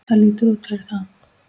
Það lítur út fyrir það